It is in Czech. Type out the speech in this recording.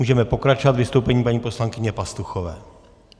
Můžeme pokračovat vystoupením paní poslankyně Pastuchové.